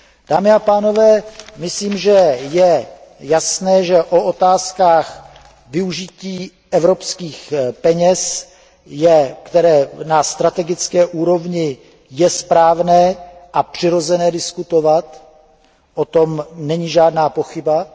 Dámy a pánové, myslím, že je jasné, že o otázkách využití evropských peněz na strategické úrovni je správné a přirozené diskutovat, o tom nelze pochybovat.